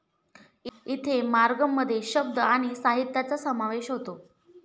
इथे मार्गम मध्ये शब्द आणि साहित्याचा समावेश होतो.